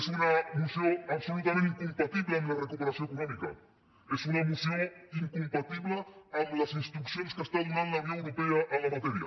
és una moció absolutament incompatible amb la recuperació econòmica és una moció incompatible amb les instruccions que està donant la unió europea en la matèria